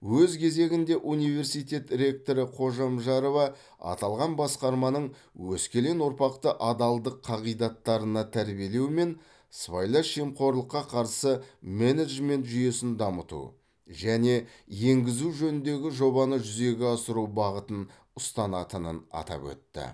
өз кезегінде университет ректоры қожамжарова аталған басқарманың өскелең ұрпақты адалдық қағидаттарына тәрбиелеу мен сыбайлас жемқорлыққа қарсы менеджмент жүйесін дамыту және енгізу жөніндегі жобаны жүзеге асыру бағытын ұстанатынын атап өтті